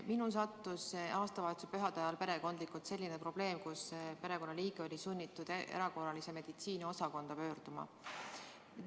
Minul tekkis aastavahetuspühade ajal perekondlikult selline olukord, kus perekonnaliige oli sunnitud erakorralise meditsiini osakonda pöörduma.